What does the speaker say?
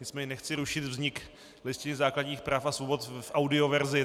Nicméně nechci rušit vznik Listiny základních práv a svobod v audioverzi.